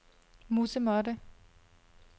musemåtte